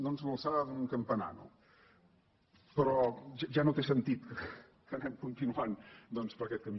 doncs de l’alçada d’un campanar no però ja no té sentit que anem continuant doncs per aquest camí